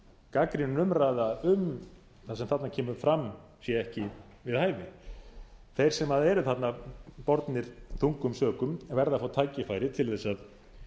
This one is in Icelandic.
gagnrýnin umræða um það sem þarna kemur fram sé ekki við hæfi þeir sem eru þarna bornir þungum sökum verða að fá tækifæri til þess að